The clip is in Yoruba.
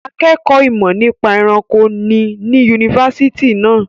Akẹ́kọ̀ọ́ ìmọ̀ nípa ẹranko ni ní yunifásitì náà.